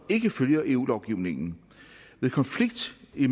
ikke følger eu lovgivningen ved konflikt